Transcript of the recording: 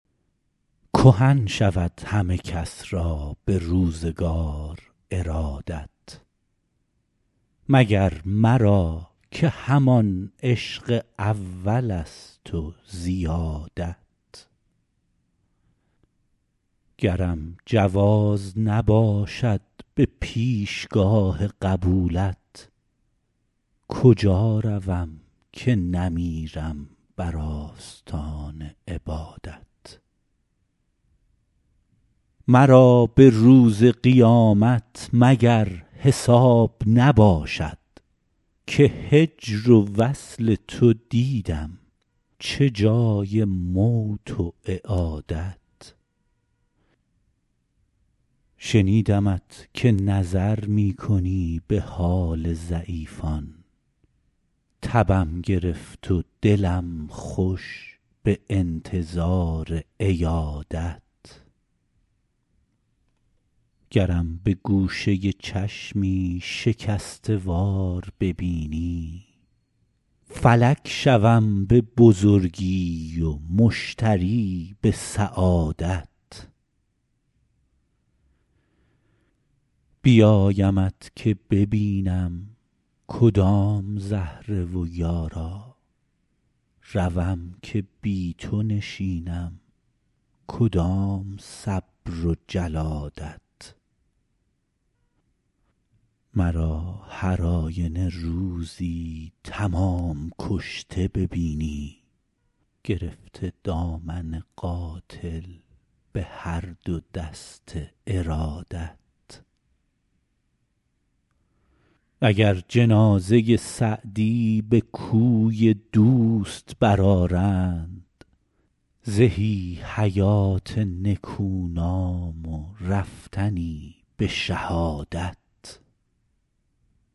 کهن شود همه کس را به روزگار ارادت مگر مرا که همان عشق اولست و زیادت گرم جواز نباشد به پیشگاه قبولت کجا روم که نمیرم بر آستان عبادت مرا به روز قیامت مگر حساب نباشد که هجر و وصل تو دیدم چه جای موت و اعادت شنیدمت که نظر می کنی به حال ضعیفان تبم گرفت و دلم خوش به انتظار عیادت گرم به گوشه چشمی شکسته وار ببینی فلک شوم به بزرگی و مشتری به سعادت بیایمت که ببینم کدام زهره و یارا روم که بی تو نشینم کدام صبر و جلادت مرا هر آینه روزی تمام کشته ببینی گرفته دامن قاتل به هر دو دست ارادت اگر جنازه سعدی به کوی دوست برآرند زهی حیات نکونام و رفتنی به شهادت